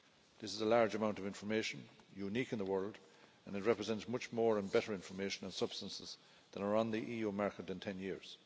This is a large amount of information unique in the world and it represents much more and better information on substances that are on the EU market, in 10 years.